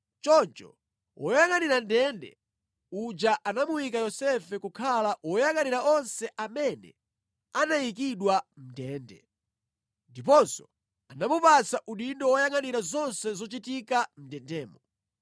Choncho woyangʼanira ndende uja anamuyika Yosefe kukhala woyangʼanira onse amene anayikidwa mʼndende. Ndiponso anamupatsa udindo woyangʼanira zonse zochitika mʼndendemo.